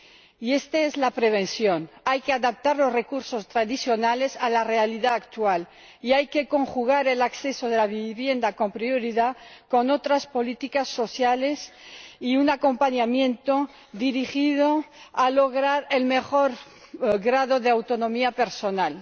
Y esta es la prevención hay que adaptar los recursos tradicionales a la realidad actual y hay que conjugar el acceso prioritario a la vivienda con otras políticas sociales y un acompañamiento dirigido a lograr el mejor grado de autonomía personal.